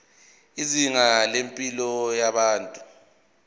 izinga lempilo yabantu